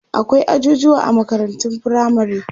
akwai ajujuwa a makarantun firamare